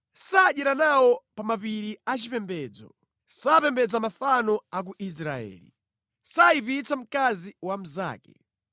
“Sadyera nawo pa mapiri achipembedzo. Sapembedza mafano a ku Israeli. Sayipitsa mkazi wa mnzake.